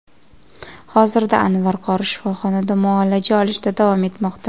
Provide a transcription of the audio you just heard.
Hozirda Anvar qori shifoxonda muolaja olishda davom etmoqda.